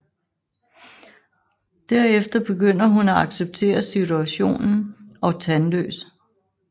Derefter begynder hun at acceptere situationen og Tandløs